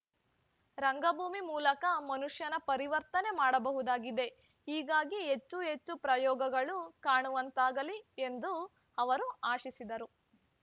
ರಂಗಭೂಮಿ ಮೂಲಕ ಮನುಷ್ಯನ ಪರಿವರ್ತನೆ ಮಾಡಬಹುದಾಗಿದೆ ಹೀಗಾಗಿ ಹೆಚ್ಚು ಹೆಚ್ಚು ಪ್ರಯೋಗಗಳು ಕಾಣುವಂತಾಗಲಿ ಎಂದು ಅವರು ಆಶಿಸಿದರು